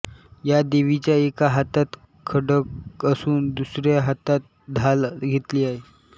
या देवीच्या एका हातात खड्ग असून व दुसऱ्या हातात ढाल घेतली आहे